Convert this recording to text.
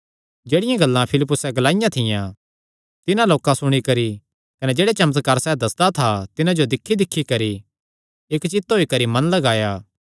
जेह्ड़ियां गल्लां फिलिप्पुसे ग्लाईयां थियां तिन्हां लोकां सुणी करी कने जेह्ड़े चमत्कार सैह़ दस्सदा था तिन्हां जो दिक्ख दिक्खी करी इक्क चित होई करी मन लगाया